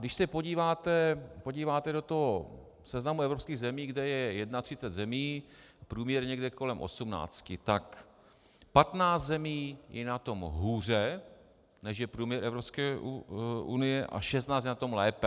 Když se podíváte do toho seznamu evropských zemí, kde je 31 zemí, průměr někde kolem 18, tak 15 zemí je na tom hůře, než je průměr Evropské unie, a 16 je na tom lépe.